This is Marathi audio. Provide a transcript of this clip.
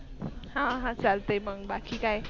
हा हा चालते मग बाकी काय?